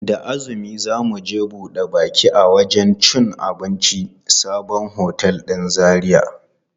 Da azumi za mu je buɗe baki a wajen cin abincin sabon otel ɗin Zaria.